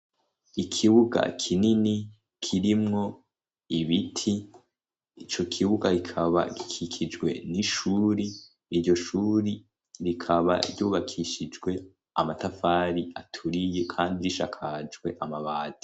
Ikibuga kinini kirimwo ibiti, ico kibuga rikaba rikikijwe n'ishuri. Iryo shuri rikaba ryubakishijwe amatafari aturiye kandi risakajwe amabati.